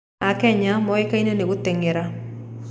Akenya moĩkaine nĩ gũteng’era.